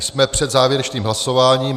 Jsme před závěrečným hlasováním.